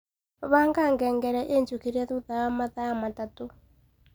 Banga ngengere injũkirĩe thutha wa mathaa matatu